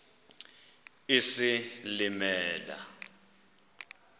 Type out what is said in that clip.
isilimela